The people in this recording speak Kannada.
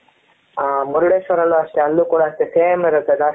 ಅ ಮುರುಡೇಶ್ವರ ಅಲ್ಲಿ ಅಷ್ಟೇ ಅಲ್ಲೂ ಕೂಡ same ಇರುತ್ತೆ ಜಸ್ತಿ